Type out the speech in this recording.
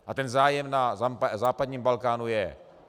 A ten zájem na západním Balkánu je.